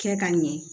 Kɛ ka ɲɛ